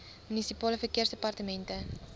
munisipale verkeersdepartemente